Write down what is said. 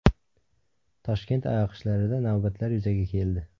Toshkent AYoQShlarida navbatlar yuzaga keldi.